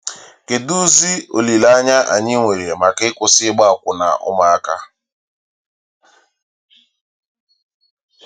Kedụzi olileanya anyị nwere maka ịkwụsị ịgba akwụna ụmụaka?